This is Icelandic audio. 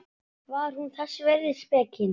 Var hún þess virði spekin?